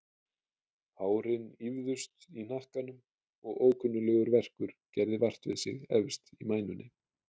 Hárin ýfðust í hnakkanum og ókunnuglegur verkur gerði vart við sig efst í mænunni.